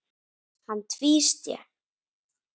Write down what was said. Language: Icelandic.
Hann tvísté.